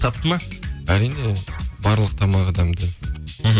тапты ма әрине барлық тамағы дәмді мхм